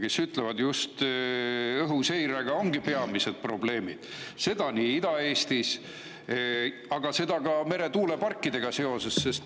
Nemad ütlevad just, et õhuseirega ongi peamised probleemid, seda nii Ida-Eestis kui ka meretuuleparkidega seoses.